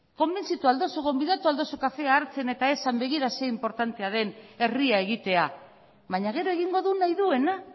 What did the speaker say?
konbentzitu ahal dozu gonbidatu ahal dozu kafea hartzen eta esan begira ze inportantea den herria egitea baina gero egingo du nahi duena